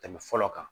Tɛmɛ fɔlɔ kan